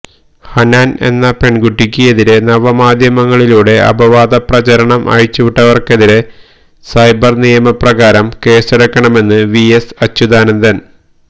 ഹനാന് എന്ന പെണ്കുട്ടിക്ക് എതിരെ നവമാധ്യമങ്ങളിലൂടെ അപവാദപ്രചരണം അഴിച്ചുവിട്ടവര്ക്കെതിരെ സൈബര് നിയപ്രകാരം കേസെടുക്കണമെന്ന് വി എസ് അച്യുതാനന്ദന്